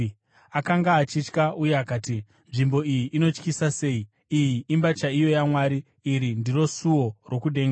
Akanga achitya uye akati, “Nzvimbo ino inotyisa sei! Iyi imba chaiyo yaMwari; iri ndiro suo rokudenga.”